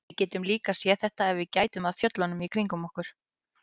Við getum líka séð þetta ef við gætum að fjöllunum kringum okkur.